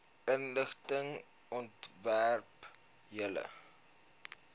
inligting omtrent julle